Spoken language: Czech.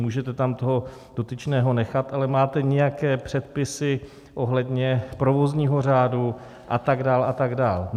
Můžete tam toho dotyčného nechat, ale máte nějaké předpisy ohledně provozního řádu a tak dál a tak dál.